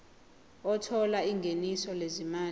othola ingeniso lezimali